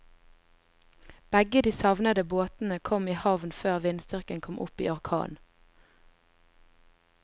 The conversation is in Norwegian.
Begge de savnede båtene kom i havn før vindstyrken kom opp i orkan.